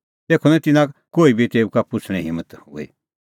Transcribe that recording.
तेखअ निं तिन्नां कोही बी तेऊ का पुछ़णें हिम्मत हुई